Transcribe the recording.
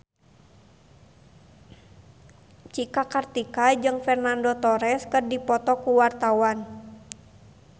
Cika Kartika jeung Fernando Torres keur dipoto ku wartawan